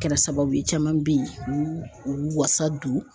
Kɛra sababu ye caman bɛ yen u wasa don.